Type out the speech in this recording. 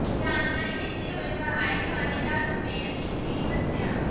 ਜਾਣਕਾਰੀ ਦਿੰਦੇ ਹੋਏ ਸਹਾਇਕ ਥਾਣੇਦਾਰ ਗੁਰਮੇਲ ਸਿੰਘ ਨੇ ਦੱਸਿਆ